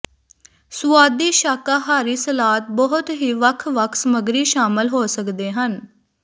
ਸੁਆਦੀ ਸ਼ਾਕਾਹਾਰੀ ਸਲਾਦ ਬਹੁਤ ਹੀ ਵੱਖ ਵੱਖ ਸਮੱਗਰੀ ਸ਼ਾਮਲ ਹੋ ਸਕਦੇ ਹਨ